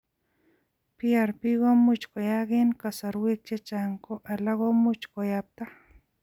Prp komuch koyaak eng' kasarwek chechang ko alak komuchi kiyapta